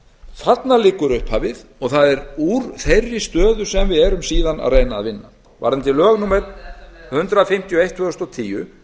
þarna liggur upphafið og það er úr þeirri stöðu sem við erum síðan að reyna að vinna varðandi lög númer hundrað og eitt tvö þúsund og tíu